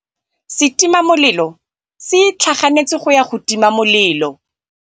Setima molelô se itlhaganêtse go ya go tima molelô.